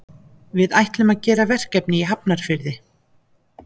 Við ætlum að gera verkefni í Hafnarfirði.